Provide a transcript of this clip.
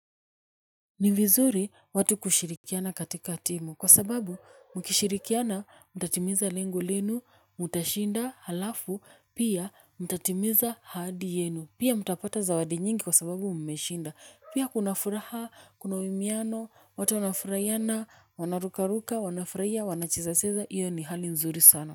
Ni vizuri watu kushirikiana katika timu kwa sababu mkishirikiana mtatimiza lengu lenu, mtashinda, halafu pia mtatimiza ahadi yenu, pia mtapata zawadi nyingi kwa sababu mmeshinda, pia kuna furaha, kuna uimiano, watu wanafurahiana, wanarukaruka, wanafurahia, wanachezacheza, hiyo ni hali nzuri sana.